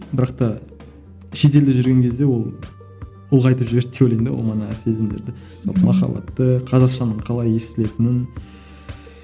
бірақ та шетелде жүрген кезде ол ұлғайтып жіберді деп ойлаймын да ол манағы сезімдерді махаббатты қазақшаның қалай естілетінін